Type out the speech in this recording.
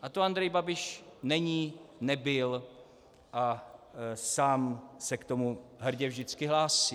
A to Andrej Babiš není, nebyl a sám se k tomu hrdě vždycky hlásí.